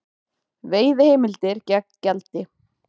Veiðiheimildir gegn gjaldi